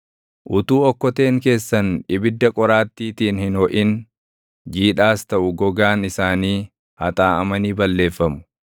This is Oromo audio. Utuu okkoteen keessan ibidda qoraattiitiin hin hoʼin, jiidhaas taʼu gogaan isaanii haxaaʼamanii balleeffamu.